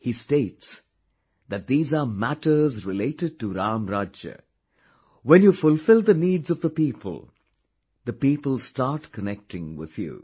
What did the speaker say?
He states that these are matters related to Ram Rajya, when you fulfill the needs of the people, the people start connecting with you